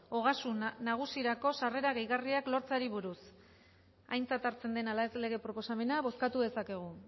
ogasun nagusirako sarrera gehigarriak lortzeari buruz aintzat hartzen den ala ez lege proposamena bozkatu dezakegu